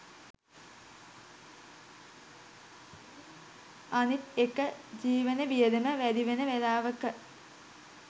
අනිත් එක ජීවන වියදම වැඩිවෙන වෙලාවක